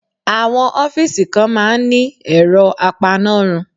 Àwọn ọ́fíìsì kan máa ń ní ẹ̀rọ apanárun.